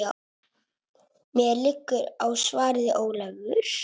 Mér liggur á, svaraði Ólafur.